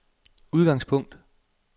udgangspunkt